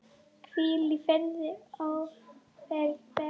Hvíl í friði ófarinn veg.